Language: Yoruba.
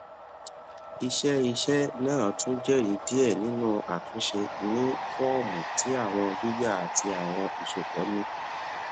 iṣẹiṣẹ naa tun jẹri diẹ ninu atunṣe ni fọọmu ti awọn gbigba ati awọn iṣọpọ ni